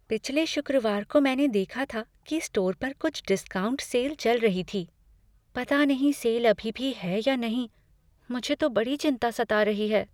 पिछले शुक्रवार को मैंने देखा था कि स्टोर पर कुछ डिस्काउंट सेल चल रही है। पता नहीं सेल अभी भी है या नहीं, मुझे तो बड़ी चिंता सता रही है।